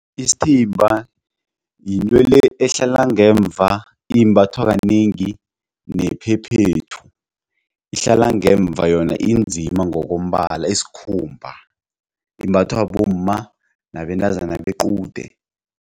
Isiithimba yinto le ehlala ngemva imbathwa kanengi nephephethu ihlala ngemva yona inzima ngokombala isikhumba imbathwa bomma nabentazana bequde.